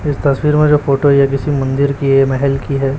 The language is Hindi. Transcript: इस तस्वीर में जो फोटो है ये किसी मंदिर की है महल की है।